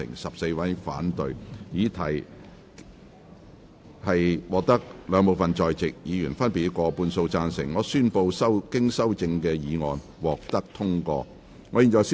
由於議題獲得兩部分在席議員分別以過半數贊成，他於是宣布修正案獲得通過。